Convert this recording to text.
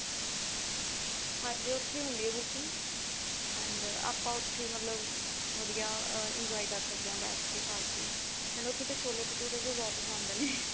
ਹਾਂਜੀ ਉੱਥੀ ਹੁੰਦੀ ਆ booking and ਆਪਾਂ ਉੱਥੇ ਮਤਲਬ ਵਧੀਆ enjoy ਕਰ ਸਕਦੇ ਹਾਂ ਬੈਠ ਕੇ ਖਾ ਕੇ and ਉੱਥੇ ਦੇ ਛੋਲੇ ਭਟੁਰੇ ਵੀ ਬਹੁਤ ਪਸੰਦ ਨੇ